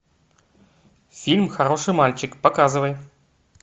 фильм хороший мальчик показывай